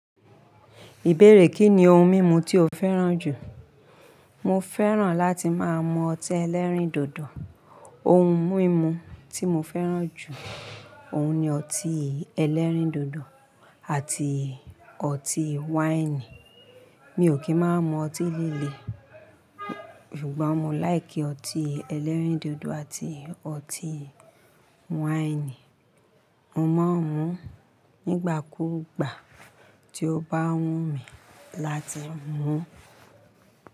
Ìbéèrè kí ni ohun mímu tí o fẹ́ràn jù? Mo fẹ́ràn láti máa mu ọtí ẹlẹ́rìndòdò. Ohun mímu tí mo fẹ́ràn jù, òun ni ọtí ẹlẹ́rìndòdò àti ọtí wáìnì. Mi ò kí máan mu ọtí líle, ṣùgbọ́n mo láìkí ọtí ẹlẹ́rìndòdò àti ọtí wáìnì. Mo máa ń mu nígbà kú gbà tí o bá wù mí láti mu.